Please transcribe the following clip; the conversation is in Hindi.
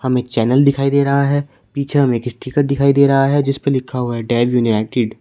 हमे एक चैनल दिखाई दे रहा है पीछे हमे एक स्टीकर दिखाई दे रहा है जिसपे लिखा हुआ है डैव यूनाइटेड ।